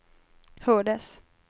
hördes